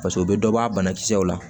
paseke u be dɔ bɔ a banakisɛw la